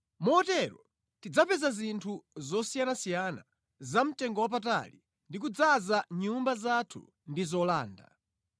Motero tidzapeza zinthu zosiyanasiyana zamtengowapatali ndi kudzaza nyumba zathu ndi zolanda;